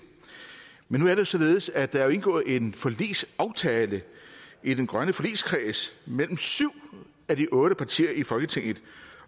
men nu er det jo således at der er indgået en forligsaftale i den grønne forligskreds mellem syv af de otte partier i folketinget